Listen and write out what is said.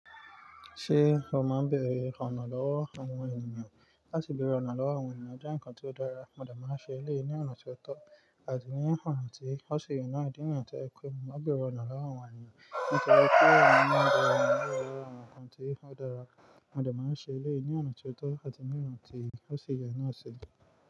Ṣé o máa ń bẹ̀rẹ̀ ona lọ́wọ́ àwọn ènìyàn? Láti bẹ̀rẹ̀ ona lọ́wọ́ àwọn ènìyàn jẹ́ ǹkan tó dára, mo dà máa ń ṣe é lé ní ọ̀nà tó tọ́ àti ní ọ̀nà tí ó ṣe yè náà idi nìyẹn tí ẹ pè mí. Mo maa bẹ̀rẹ̀ ona lọ́wọ́ àwọn ènìyàn nítori pé ọ̀nà bebere je àwọn ǹkan tí o dára, mo dà máa ń ṣe élé ní ọ̀nà tó tọ́ àti ní ọ̀nà tí ó ṣi yè náà ṣi.